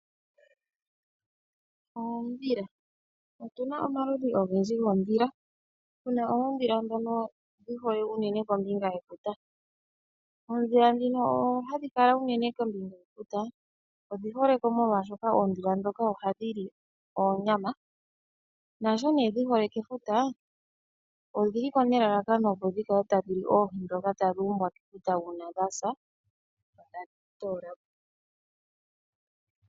Oondhila, otuna omaludhi ogendji goondhila, tuna oondhila ndhono dhihole kombinga yefuta. Oondhila ndhi dhihole kombinga yefuta odhiholeko oshoka ohadhi li oonyama no kefuta odhili holeko opo dhi kale tadhili oohi ndhoka tadhuumbwamo mefuta komeya uuna dhasa.